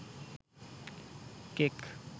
cake